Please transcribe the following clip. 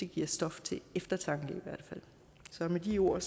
giver stof til eftertanke så med de ord